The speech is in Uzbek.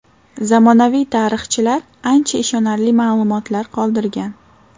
Zamonaviy tarixchilar ancha ishonarli ma’lumotlar qoldirgan.